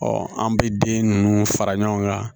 an bɛ den ninnu fara ɲɔgɔn kan